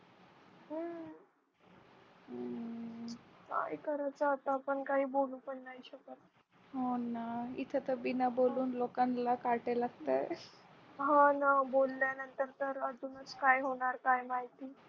मग काय करायचं आता आपण काय बोलू पण नाही शकत हो ना इथं तर बिना बोलून लोकांना काटे लागतात हो ना बोला नंतर तर अजून काय होणार काय माहिती